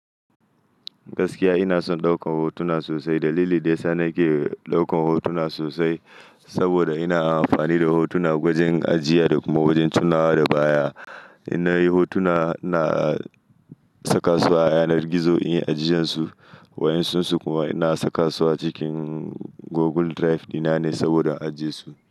Gaskiya ina son ɗaukan hotuna sosai. Dalili daya sa nake ɗaukan hotuna sosai saboda ina amfani da hotuna wajen ajiya da kuma wajen tunawa da baya. In nayi hotuna, ina saka su a yanar gizo in yi ajijensu. Wayansunsu kuma ina saka su a cikin Google Drive dina ne saboda ajiye su.